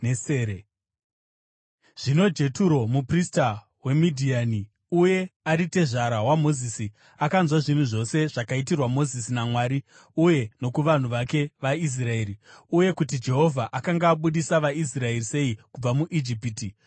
Zvino Jeturo, muprista weMidhiani uye ari tezvara waMozisi, akanzwa zvinhu zvose zvakaitirwa Mozisi naMwari uye nokuvanhu vake vaIsraeri, uye kuti Jehovha akanga abudisa vaIsraeri sei kubva muIjipiti.